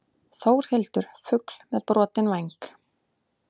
Þórhildur fugl með brotinn væng.